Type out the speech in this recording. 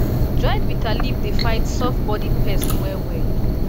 dried bitter leaf dey fight softbodied pest well well